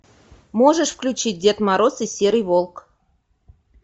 можешь включить дед мороз и серый волк